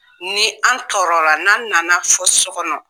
Ni an tɔɔrɔla n'an nana fɔ su kɔnɔ.